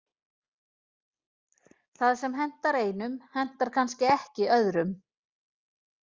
Það sem hentar einum hentar kannski ekki öðrum.